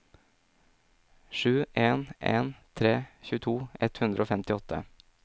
sju en en tre tjueto ett hundre og femtiåtte